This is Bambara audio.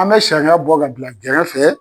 An bɛ sariya bɔ ka bila gɛrɛfɛ.